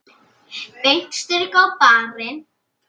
Beint strik á barinn.